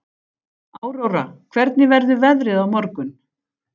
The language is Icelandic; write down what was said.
Áróra, hvernig verður veðrið á morgun?